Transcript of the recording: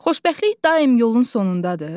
Xoşbəxtlik daim yolun sonundadır?